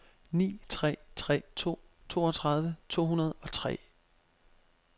ni tre tre to toogtredive to hundrede og tre